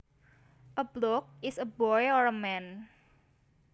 A bloke is a boy or a man